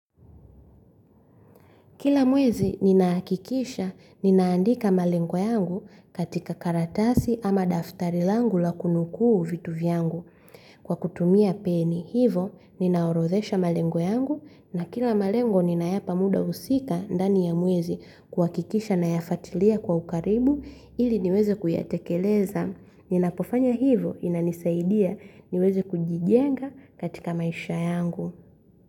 Kila mwezi ninahakikisha, ninaandika malengo yangu katika karatasi ama daftari langu la kunukuu vitu vyangu. Kwa kutumia peni hivo, ninaorodhesha malengo yangu na kila malengo ninayapa muda husika ndani ya mwezi kuhakikisha nayafuatilia kwa ukaribu ili niweze kuyatekeleza. Ninapofanya hivo inanisaidia niweze kujijenga katika maisha yangu.